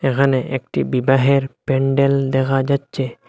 এখানে একটি বিবাহের প্যান্ডেল দেখা যাচ্ছে।